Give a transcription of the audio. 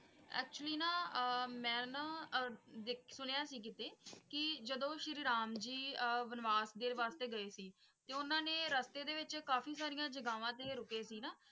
actually ਨਾ ਆਹ ਮੈਂ ਨਾ ਦੇਖ~ ਸੁੰਨੀਆਂ ਸੀ ਕੀਤੇ ਜਦੋ ਸ਼੍ਰੀ ਰਾਮ ਜੀ ਆਹ ਵਣਵਾਸ ਦੇਰ ਵਾਸਤੇ ਗਈ ਸੀ ਤੇ ਉੰਨਾ ਨੇ ਰਸਤੇ ਵਿਚ ਕਾਫੀ ਸਾਰੀਆਂ ਜਗਾਵਾਂ ਤੇ ਰੁਕੇ ਸੀ ਨਾ?